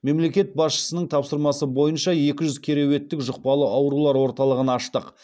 мемлекет басшысының тапсырмасы бойынша екі жүз керуеттік жұқпалы аурулар орталығын аштық